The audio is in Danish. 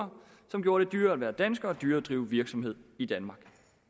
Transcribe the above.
som gjorde det dyrere at være dansker og dyrere at drive virksomhed i danmark